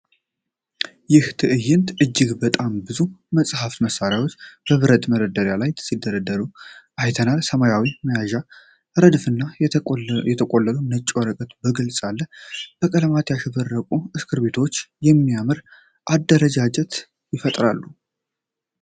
ይህ ትዕይንት እጅግ በጣም ብዙ የጽሕፈት መሣሪያዎች በብረት መደርደሪያ ላይ ሲደረደሩ አይተናል። የሰማያዊ መያዣዎች ረድፍና የተቆለሉ ነጭ ወረቀቶች በግልጽ አሉ። በቀለም ያሸበረቁ እስክሪብቶዎች የሚያምር አደረጃጀትን ይፈጥራሉ።